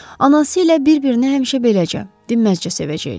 Anası ilə bir-birini həmişə beləcə, dinməzcə sevəcəklər.